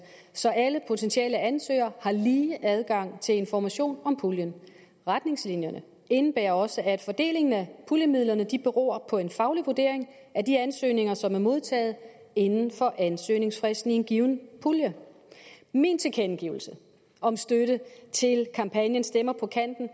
så alle potentielle ansøgere har lige adgang til information om puljen retningslinjerne indebærer også at fordelingen af puljemidlerne beror på en faglig vurdering af de ansøgninger som er modtaget inden for ansøgningsfristen i en given pulje min tilkendegivelse om støtte til kampagnen stemmer på kanten